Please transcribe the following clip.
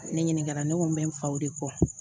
Ne ɲininka ne ko n bɛ n faw de kɔ